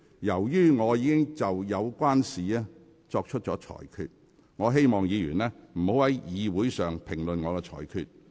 由於我已就有關事項作出裁決，請議員不要在會議上評論我的裁決。